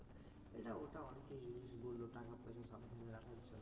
এটা ওটা অনেক কিছু জিনিস বলল টাকাপয়সা সাবধানে রাখার জন্য